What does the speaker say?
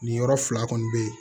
Nin yɔrɔ fila kɔni bɛ yen